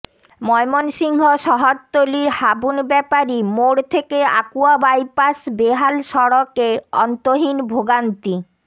ময়মনসিংহ শহরতলির হাবুন ব্যাপারী মোড় থেকে আকুয়া বাইপাস বেহাল সড়কে অন্তহীন ভোগান্তি